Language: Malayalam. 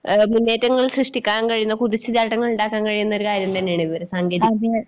മുന്നേറ്റങ്ങൾ സൃഷ്ടിക്കാൻ കഴിയുന്ന കുതിച്ചുചാട്ടങ്ങളിണ്ടാക്കാൻ കഴിയുന്നൊരു കാര്യം തന്നെയാണിത് സാങ്കേതിക